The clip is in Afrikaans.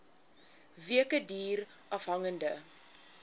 weke duur afhangende